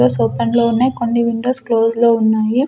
Windows open లో ఉన్నాయ్ కొన్ని విండోస్ క్లోజ్ లో ఉన్నాయి.